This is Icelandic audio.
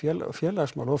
félagsmál og